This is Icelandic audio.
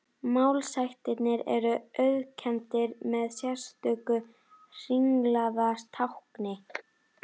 Málshættirnir eru auðkenndir með sérstöku hringlaga tákni.